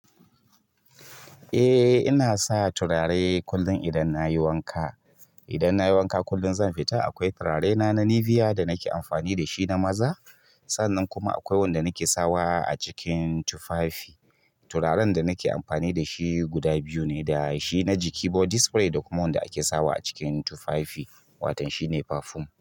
Eh ina sa turare kullum idan nayi wanka. Idan nayi wanka kullum zan fita akwai turarena na Nivea da nake amfani da shi na maza. Sannan kuma akwai wanda nake sawa a cikin tufafi. Turaren da nake amfani da shi guda biyu ne, da shi na jiki body spray da kuma wanda ake sawa a cikin tufafi wato shine parfum.